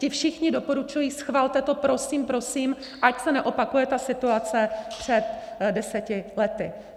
Ti všichni doporučují, schvalte to, prosím, prosím, ať se neopakuje ta situace před deseti lety.